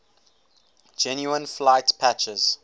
genuine flight patches